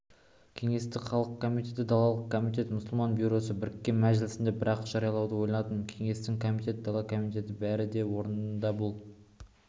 кеңестік халық комитеті далалық комитет мұсылман бюросы біріккен мәжілісінде бір-ақ жариялауды ойладым кеңестің комитет дала комитеті бәрі де орнында бұл